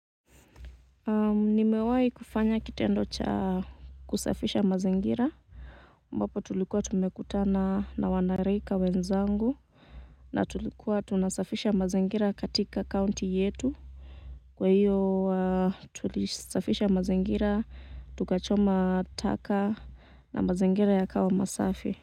Nimewahi kufanya kitendo cha kusafisha mazingira ambapo tulikuwa tumekutana na wanarika wenzangu na tulikuwa tunasafisha mazingira katika county yetu kwa hiyo tulisafisha mazingira tukachoma taka na mazingira ya kawa masafi.